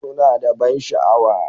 Suna da ban sha'awa.